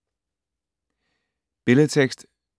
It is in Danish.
Billedtekst: